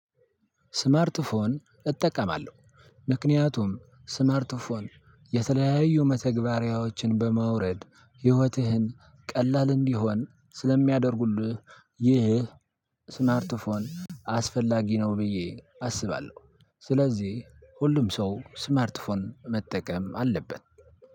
ስማርት ፎን እጠቀማለሁ ምክንያቱም ስማርት ፎን የተለያዩ መተግበሪያዎችን በማውረድ ህይወትህን ቀላል እንዲሆን ስለሚያደርጉልህ ይህ ስማርት ፎን አስፈላጊ ነው ብዬ አስባለሁ። ስለዚህ ሁሉም ሰው ስማርት ፎን መጠቀም አለበት።